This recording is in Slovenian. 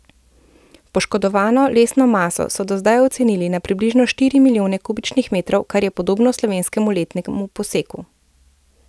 Poškodovano lesno maso so do zdaj ocenili na približno štiri milijone kubičnih metrov, kar je podobno slovenskemu letnemu poseku.